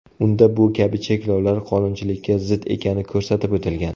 Unda bu kabi cheklovlar qonunchilikka zid ekani ko‘rsatib o‘tilgan.